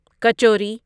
kachori kachori